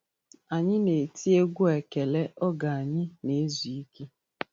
Anyị na-eti egwú ekele oge anyị nezu ike.